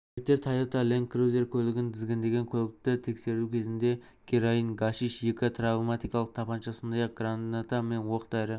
жігіттер тойота-ленд-крузер көлігін тізгіндеген көлікті тексеру кезінде героин гашиш екі травматикалық тапанша сондай-ақ граната мен оқ-дәрі